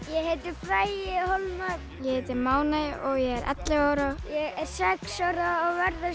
heitir Bragi hólmar ég heiti Máney og ég er ellefu ára ég er sex ára og verða